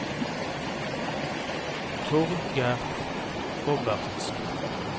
Torger Robertsen